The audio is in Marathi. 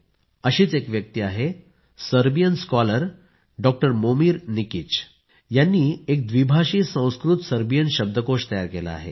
अशीच एक व्यक्ती आहे Serbian scholar doctor Momir Nikic यांनी एक व्दिभाषी संस्कृत सर्बियन शब्दकोश तयार केला आहे